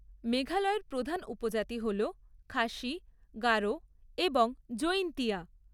মেঘালয়ের প্রধান উপজাতি হল খাসি, গারো এবং জৈন্তিয়া।